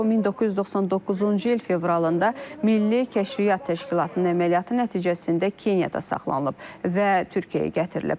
O 1999-cu il fevralında Milli Kəşfiyyat Təşkilatının əməliyyatı nəticəsində Keniyada saxlanılıb və Türkiyəyə gətirilib.